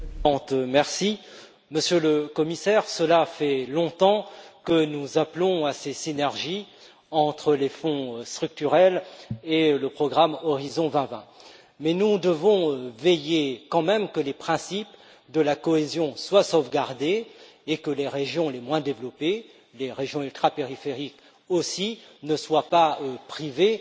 Madame la Présidente, Monsieur le Commissaire, cela fait longtemps que nous appelons à ces synergies entre les Fonds structurels et le programme Horizon 2020. Mais nous devons veiller quand même à ce que les principes de la cohésion soient sauvegardés et à ce que les régions les moins développées, les régions ultrapériphériques aussi, ne soient pas privées